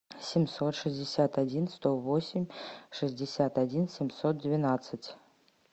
семьсот шестьдесят один сто восемь шестьдесят один семьсот двенадцать